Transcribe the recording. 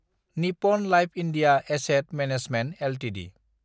Nippon life India asset management Ltd